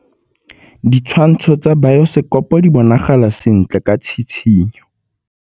Ditshwantshô tsa biosekopo di bonagala sentle ka tshitshinyô.